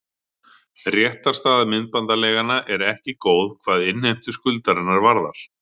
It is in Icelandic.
Réttarstaða myndbandaleiganna er ekki góð hvað innheimtu skuldarinnar varðar.